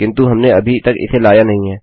किन्तु हमने अभी तक इसे लाया नहीं है